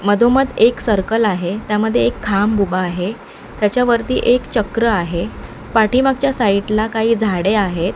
मधोमध एक सर्कल आहे त्यामध्ये एक खांब उभा आहे त्याच्यावरती एक चक्र आहे पाठीमागच्या साईड ला काही झाडे आहेत.